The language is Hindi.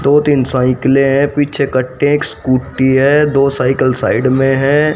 दो तीन साइकिले है पीछे कट्टे स्कूटी है दो साइकिल साइड में है।